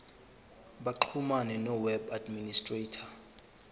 baxhumane noweb administrator